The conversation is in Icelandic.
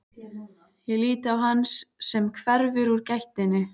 Ég lít á hann sem hverfur úr gættinni.